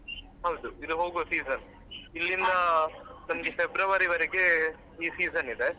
ಹೌದು ಇದು ಹೋಗುವ season ಇಲ್ಲಿಂದ ನಮ್ಗೆ February ವರೆಗೆ ಈ season ಇದೆ.